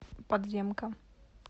подземка